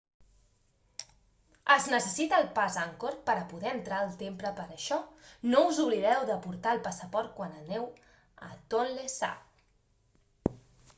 es necessita el pas angkor per a poder entrar al temple per això no us oblideu de portar el passaport quan aneu a tonlé sap